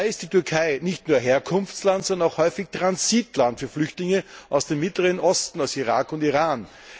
Dabei ist die Türkei nicht nur Herkunftsland, sondern häufig auch Transitland für Flüchtlinge aus dem mittleren Osten, aus Irak und Iran.